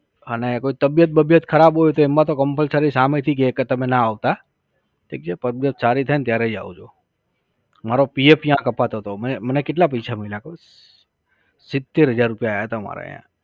અને કોઈ તબિયત બબીયત ખરાબ હોય તો એમાં તો compulsory સામેથી કહે કે તમે ના આવતા. ઠીક છે તબિયત સારી થાય ને ત્યારે જ આવજો. મારો PF ત્યાં કપાતો તો. મને કેટલા પૈસા મળ્યા ખબર છ? સીતેર હજાર રૂપિયા આયા તા મારે અહીંયા